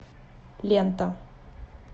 лента